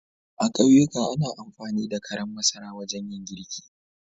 A ƙauyika ana amfani da karan masara wajen yin girki.